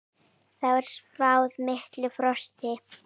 Þar er spáð miklu frosti.